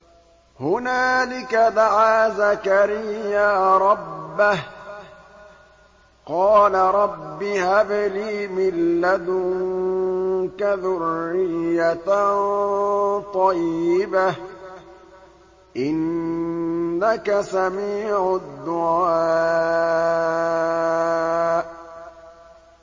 هُنَالِكَ دَعَا زَكَرِيَّا رَبَّهُ ۖ قَالَ رَبِّ هَبْ لِي مِن لَّدُنكَ ذُرِّيَّةً طَيِّبَةً ۖ إِنَّكَ سَمِيعُ الدُّعَاءِ